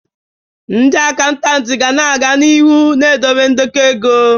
Ndị akantati ga-aga n'ihu na-edobe ndekọ ego.